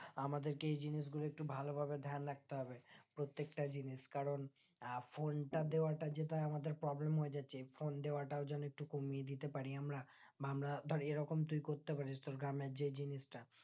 আমাদেরকে এই জানিস গুলো একটু ভালোভাবে ধ্যান রাখতে হবে প্রত্যেকটা জিনিস কারণ আহ phone টা দেয়াটা যেটা আমাদের problem হয়েযাচ্ছে phone দেওয়া টাও যেন একটু কমিয়ে দিতে পারি আমরা বা আমরা ধরে এইরকম তুই করতে পারিস তোর গ্রামে যে জিনিসটা